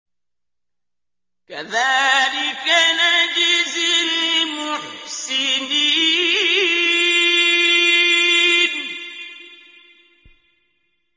كَذَٰلِكَ نَجْزِي الْمُحْسِنِينَ